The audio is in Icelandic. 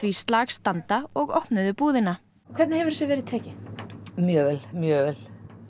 slag standa og opnuðu búðina hvernig hefur þessu verið tekið mjög vel mjög vel